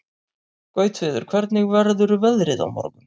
Gautviður, hvernig verður veðrið á morgun?